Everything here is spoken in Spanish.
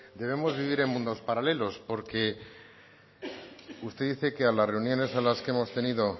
debemos vivir en mundos paralelos porque usted dice que a las reuniones a las que hemos tenido